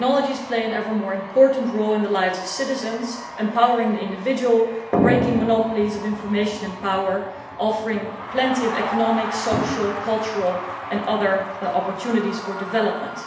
Technologies play an ever more important role in the lives of citizens, empowering the individual, breaking monopolies on information and power, and offering plenty of economic, social, cultural and other opportunities for development.